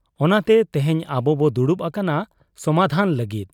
ᱚᱱᱟᱛᱮ ᱛᱮᱦᱮᱧ ᱟᱵᱚᱵᱚ ᱫᱩᱲᱩᱵ ᱟᱠᱟᱱᱟ ᱥᱚᱢᱟᱫᱷᱟᱱ ᱞᱟᱹᱜᱤᱫ ᱾